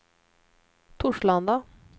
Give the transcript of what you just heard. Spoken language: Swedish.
Torslanda